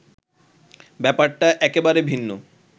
ব্যাপারটা একেবারে ভিন্ন